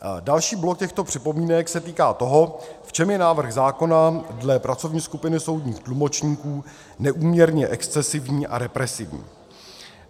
Další blok těchto připomínek se týká toho, v čem je návrh zákona dle pracovní skupiny soudních tlumočníků neúměrně excesivní a represivní.